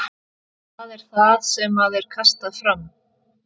Hvað er það sem að er kastað fram?